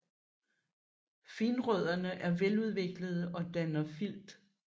Finrødderne er veludviklede og danner filt